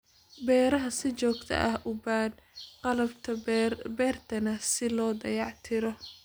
Beeruhu si joogto ah u baadh qalabka beerta si loo dayactiro.